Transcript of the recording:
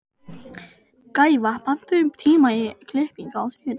Gæfa, pantaðu tíma í klippingu á þriðjudaginn.